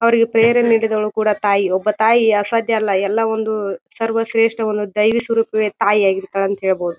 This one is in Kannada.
ಅವ್ರಿಗೆ ಫೇರ್ ನೀಡಿದ್ದವಳು ಕೂಡ ತಾಯಿ. ಒಬ್ಬ ತಾಯಿ ಅಸಾಧ್ಯ ಅಲ್ಲಾ ಎಲ್ಲಾ ಒಂದು ಸರ್ವ ಶ್ರೇಷಟ್ಟವನ್ನು ತಾಯಿ ಒಂದು ದೈವಿಸ್ವರೂಪವೇ ತಾಯಿ ಆಗಿರತ್ತಳೆ ಅಂತ ಹೇಳಬಹುದು.